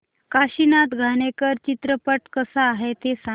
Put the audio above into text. काशीनाथ घाणेकर चित्रपट कसा आहे ते सांग